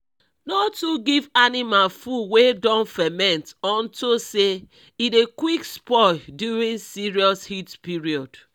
no too give animals food wey don ferment unto say e dey quick spoil during serious heat period